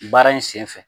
Baara in sen fɛ